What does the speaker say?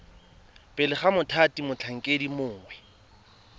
pele ga mothati motlhankedi mongwe